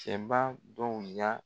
cɛba dɔw y'a